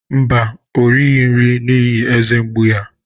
Mba, o righị nri n'ihi eze mgbu ya.